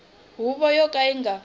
huvo yo ka yi nga